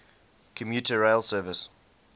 commuter rail service